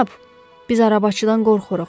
Cənab, biz arabaçıdan qorxuruq.